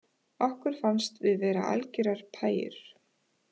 Okkur fannst við vera algerar pæjur